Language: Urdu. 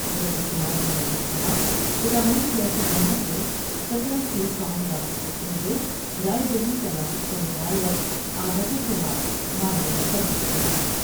رجت کمار نے مزید کہا کہ تمام سیاسی جماعتیں ستارہ سی فارم داخل کر تے ہوۓ راۓ دہی تناسب سے متعلق اعداد وشمار معلوم کر سکتے ہیں ۔